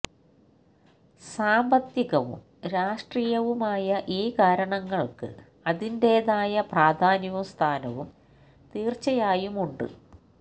സാമ്പത്തികവും രാഷ്ട്രീയവുമായ ഈ കാരണങ്ങള്ക്ക് അതിന്റേതായ പ്രാധാന്യവും സ്ഥാനവും തീര്ച്ചയായും ഉണ്ട്